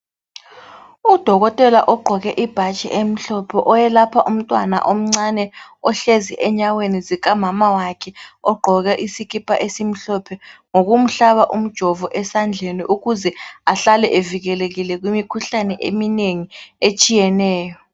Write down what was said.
Udokotela ogqoke ibhatshi elimhlophe oyelapha umntwana omncane ohlezi enyaweni zika mama wakhe ogqoke isikipa esimhlophe, ngokumfaka umjovo ukuze ahlale evikelekile kumikhuhlane eminengi etshiyeneyo.